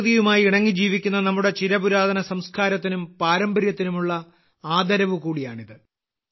പ്രകൃതിയുമായി ഇണങ്ങി ജീവിക്കുന്ന നമ്മുടെ ചിരപുരാതന സംസ്കാരത്തിനും പാരമ്പര്യത്തിനുമുള്ള ആദരവ് കൂടിയാണിത്